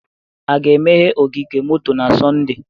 A ga-emeghe ogige moto na Sọnde?